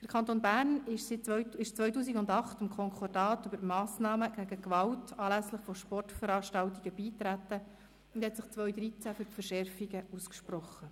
Der Kanton Bern trat 2008 dem Konkordat über Massnahmen gegen Gewalt anlässlich von Sportveranstaltungen bei und sprach sich 2013 für die Verschärfung aus.